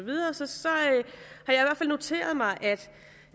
har noteret mig